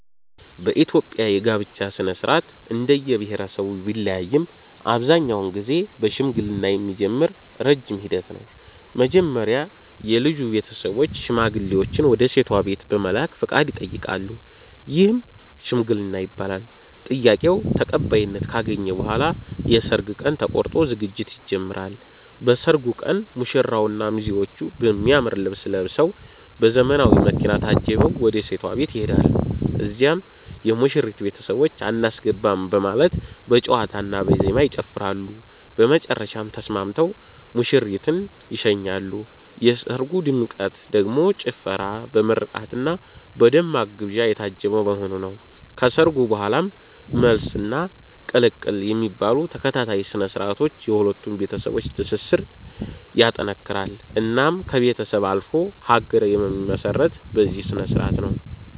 በኢትዮጵያ የጋብቻ ሥነ-ሥርዓት እንደየብሄረሰቡ ቢለያይም አብዛኛውን ጊዜ በሽምግልና የሚጀምር ረጅም ሂደት ነው። መጀመሪያ የልጁ ቤተሰቦች ሽማግሌዎችን ወደ ሴቷ ቤት በመላክ ፈቃድ ይጠይቃሉ፤ ይህም "ሽምግልና" ይባላል። ጥያቄው ተቀባይነት ካገኘ በኋላ የሰርግ ቀን ተቆርጦ ዝግጅት ይጀምራል። በሰርጉ ቀን ሙሽራውና ሚዜዎቹ በሚያምር ልብስ ለብሰዉ፤ በዘመናዊ መኪና ታጅበው ወደ ሴቷ ቤት ይሄዳሉ። እዚያም የሙሽሪት ቤተሰቦች "አናስገባም " በማለት በጨዋታና በዜማ ይጨፍራሉ፤ በመጨረሻም ተስማምተው ሙሽሪትን ይሸኛሉ። የሰርጉ ድምቀት ደግሞ ጭፈራ፣ በምርቃትና በደማቅ ግብዣ የታጀበ መሆኑ ነው። ከሰርጉ በኋላም "መልስ" እና "ቅልቅል" የሚባሉ ተከታታይ ስነ-ስርዓቶች የሁለቱን ቤተሰቦች ትስስር ይጠነክራል። እናም ከቤተሰብ አልፎ ሀገር የሚመሰረተው በዚህ ስነስርዓት ነው